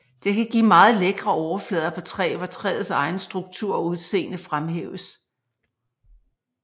Det kan give meget lækre overflader på træ hvor træets egen struktur og udseende fremhæves